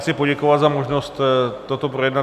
Chci poděkovat za možnost toto projednat.